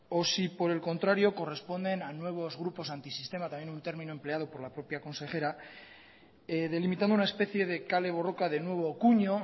o si por el contrario corresponden a nuevos grupos antisistema también un término empleado por la propia consejera delimitando una especie de kale borroka de nuevo cuño